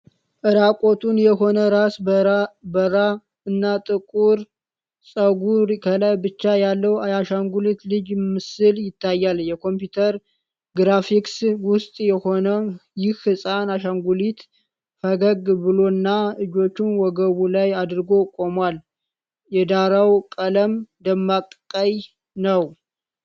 እራቁቱን የሆነ፣ ራሰ በራ እና ጥቁር ፀጉር ከላይ ብቻ ያለው የአሻንጉሊት ልጅ ምስል ይታያል። የኮምፒውተር ግራፊክስ ውጤት የሆነው ይህ ሕፃን አሻንጉሊት ፈገግ ብሎና እጆቹን ወገቡ ላይ አድርጎ ቆሟል። የዳራው ቀለም ደማቅ ቀይ ነው።